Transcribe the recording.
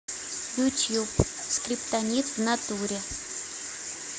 ютуб скриптонит внатуре